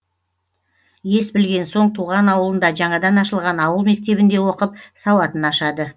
ес білген соң туған ауылында жаңадан ашылған ауыл мектебінде оқып сауатын ашады